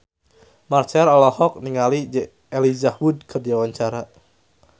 Marchell olohok ningali Elijah Wood keur diwawancara